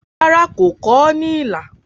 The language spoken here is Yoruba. Rárá, kò kọ ọ́ ní ilà.